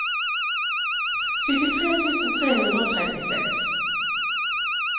syttitre tusen tre hundre og trettiseks